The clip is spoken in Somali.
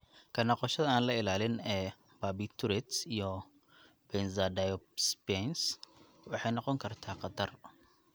Ka noqoshada aan la ilaalin ee barbiturates iyo benzodiazepines waxay noqon kartaa khatar.